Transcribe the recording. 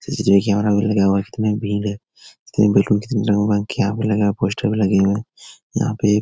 CCTV. Camera भी लगा हुआ है कितनी भीड़ है देखो कितने लोगो का हुआ पोस्टर भी लगे हुए हैं यहाँ पे एक।